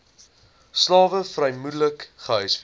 slawe vermoedelik gehuisves